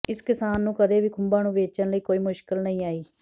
ਇਸ ਕਿਸਾਨ ਨੂੰ ਕਦੇ ਵੀ ਖੁੰਭਾਂ ਨੂੰ ਵੇਚਣ ਲਈ ਕੋਈ ਮੁਸ਼ਕਿਲ ਨਹੀਂ ਆਈ